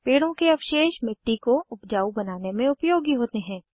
पेड़ों के अवशेष मिट्टी को उपजाऊ बनाने में उपयोगी होते हैं